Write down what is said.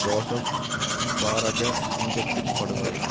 Joseph பரராஜசிங்கத்தின் படுகொலை